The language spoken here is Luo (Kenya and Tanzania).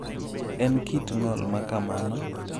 En kit ng’ol ma kamano?